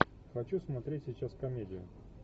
хочу смотреть сейчас комедию